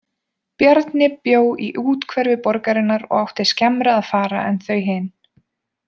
Bjarni bjó í úthverfi borgarinnar og átti skemmra að fara en þau hin.